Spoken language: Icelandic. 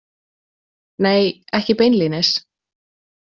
Nei, ekki beinlínis.